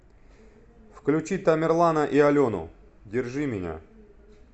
включи тамерлана и алену держи меня